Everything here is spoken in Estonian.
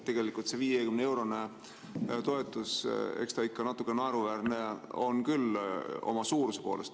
Tegelikult see 50-eurone toetus, eks ta ikka natuke naeruväärne on küll oma suuruse poolest.